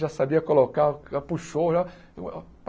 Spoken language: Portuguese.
Já sabia colocar, já puxou já.